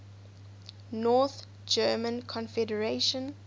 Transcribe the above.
north german confederation